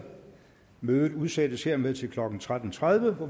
mødet udsættes hermed til klokken tretten tredive hvor